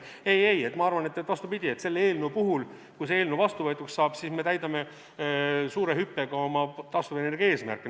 Ei-ei, ma arvan, vastupidi, kui see eelnõu vastuvõetuks saab, siis me täidame suure hüppega oma taastuvenergia eesmärke.